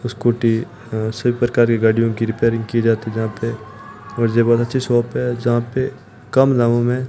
scooty अ सब प्रकार की गाड़ियों की रिपेयरिंग की जाती जहां पे और जे बहोत अच्छी शॉप है जहां पे कम दामों में --